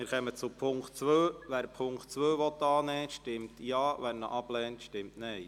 Wer den Punkt 2 der Motion annimmt, stimmt Ja, wer diesen ablehnt, stimmt Nein.